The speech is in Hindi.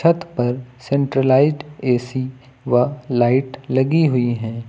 छत पर सेंट्रलाइज्ड ए_सी व लाइट लगी हुई है।